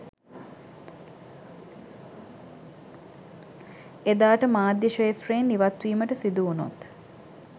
එදාට මාධ්‍ය ක්‍ෂේත්‍රයෙන් ඉවත්වීමට සිදුවුණොත්